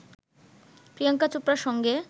প্রিয়াংকা চোপড়ার সঙ্গে